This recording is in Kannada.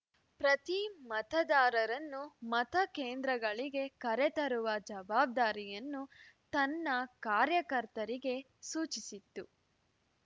ಪ್ರತಿ ಮತದಾರರನ್ನು ಮತ ಕೇಂದ್ರಗಳಿಗೆ ಕರೆ ತರುವ ಜವಾಬ್ದಾರಿಯನ್ನು ತನ್ನ ಕಾರ್ಯಕರ್ತರಿಗೆ ಸೂಚಿಸಿತ್ತು